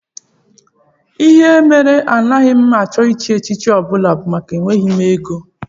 Ihe mere agaghị m achọ ịchị echichi ọ bụla bụ maka na enweghị m ego